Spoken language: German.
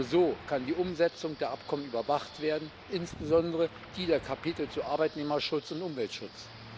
Nur so kann die Umsetzung der Abkommen überwacht werden, insbesondere die der Kapitel zu Arbeitnehmerschutz und Umweltschutz.